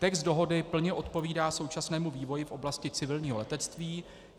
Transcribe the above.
Text dohody plně odpovídá současnému vývoji v oblasti civilního letectví.